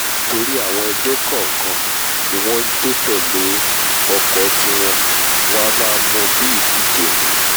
nítorí àwọn ẹgbẹ́ kọ̀ọ̀kan ní wọ́n njó tẹ̀lé ọkọ̀ tiwọn wọn a máa mú u bí ìdíje ni